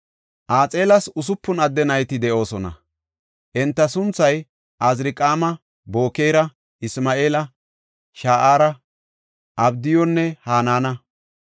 Axeelas usupun adde nayti de7oosona. Enta sunthay Azirqaama, Bokeera, Isma7eela, Sha7aara, Abdiyunne Hanaana.